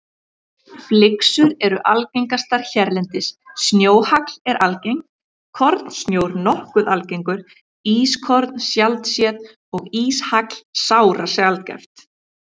Flyksur eru algengastar hérlendis, snjóhagl er algengt, kornsnjór nokkuð algengur, ískorn sjaldséð og íshagl sárasjaldgæft.